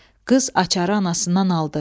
Qız açarı anasından aldı.